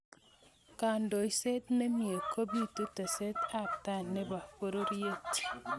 kandoishet nemye kupitu teset ab tai ne bo pororiet.